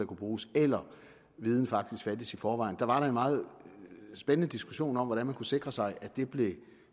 bruges eller om viden faktisk fandtes i forvejen der var en meget spændende diskussion om hvordan man kunne sikre sig at det blev